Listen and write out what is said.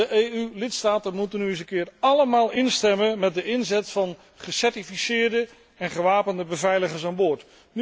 De EU lidstaten moeten nu eens een keer allemaal instemmen met de inzet van gecertificeerde en gewapende beveiligers aan boord.